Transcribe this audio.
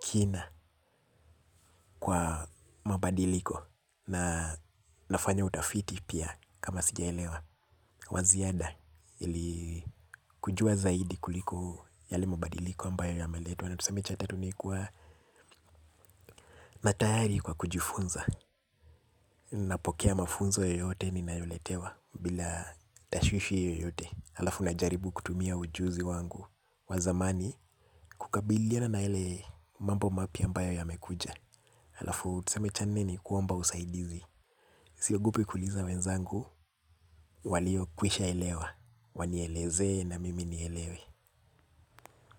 kina kwa mabadiliko. Na nafanya utafiti pia kama singeelewa wa ziada ili kujua zaidi kuliko yale mabadiliko ambayo yameletwa. Na tuseme cha tatu ni kuwa na tayari kwa kujifunza. Napokea mafunzo yoyote ninayo letewa bila tashwishi yoyote. Alafu najaribu kutumia ujuzi wangu wa zamani kukabiliana na yale mambo mapya ambayo yamekuja. Alafu tuseme cha nne ni kwamba usaidizi siogopi kuliza wenzangu walio kwisha elewa. Wanielezee na mimi nielewe.